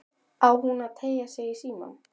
Á hún að teygja sig í símann?